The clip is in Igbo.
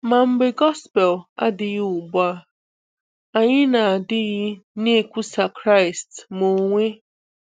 Ma mgbe Gospel adịghị ugbu a, anyị na-adịghị na-ekwùsà Kraịst, ma onwe.